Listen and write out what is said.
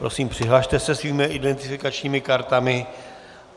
Prosím, přihlaste se svými identifikačními kartami.